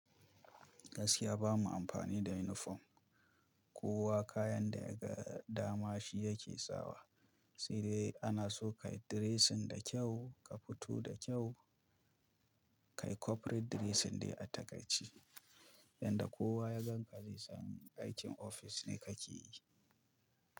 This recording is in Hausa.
Gaskiya bamu amfani da unifom, kowa kayan da ya ga dama shi yake sawa. Sai dai ana so ka yi dressing da kyau, ka fito da kyau. Kai corporate dressing ne a takaice, yanda kowa ya gan ka zai san aikin ofis ne ka ke yi.